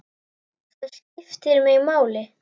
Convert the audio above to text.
Það skiptir mig máli.